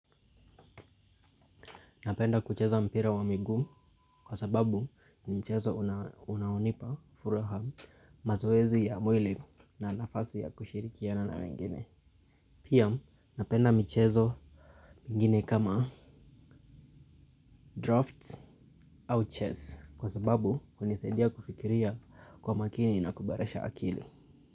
Napenda kucheza mpira wa miguu kwa sababu ni mchezo unaonipa furaha mazoezi ya mwili na nafasi ya kushirikiana na wengine. Pia napenda michezo ingine kama draft au chess kwa sababu hunisedia kufikiria kwa makini na kuboresha akili.